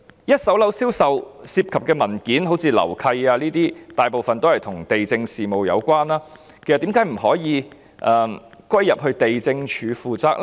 一手樓宇銷售所涉及的文件，例如樓契，其實大部分與地政事務有關，為何不可以歸入地政總署呢？